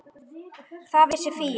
Það vissi Fía.